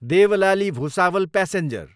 Deolali, Bhusawal passenger